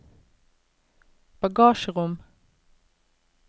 bagasjerom